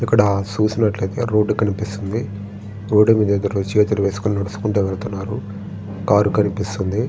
ఇక్కడ చూసినట్లు ఐతే రోడ్ కనిపిస్తుంది. రోడ్ మీద ఇద్దరు చేతులు వేసుకుని నడుచుకుంటూ వెళ్తున్నారు. కార్ కనిపిస్తుంది.